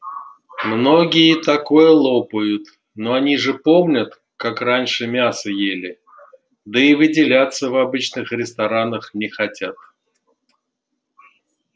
многие такое лопают ну они же помнят как раньше мясо ели да и выделяться в обычных ресторанах не хотят